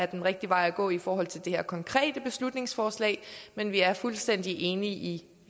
den rigtige vej at gå i forhold til det her konkrete beslutningsforslag men vi er fuldstændig enige i